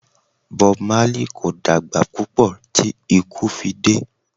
Bob Marley kò dàgbà púpọ̀ tí ikú fi dé.